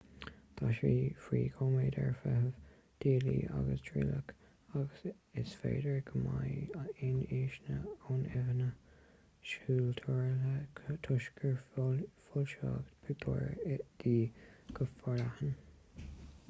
tá sí faoi choimeád ar feitheamh díotála agus trialach ach is féidir go mbeidh aon fhianaise ó fhinnéithe súl truaillithe toisc gur foilsíodh pictiúir di go forleathan